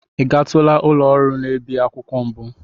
Ị gatula ụlọ ọrụ na-ebi akwụkwọ mbụ?